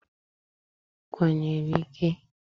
I kwanyere ike?